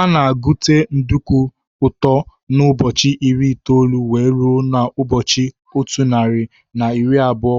Ana egute nduku ụtọ n' ụbọchị iri itoolu wee ruo na ụbọchị ọtu narị na iri abụọ